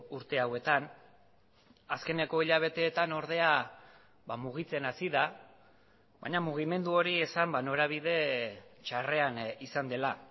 urte hauetan azkeneko hilabeteetan ordea mugitzen hasi da baina mugimendu hori esan norabide txarrean izan dela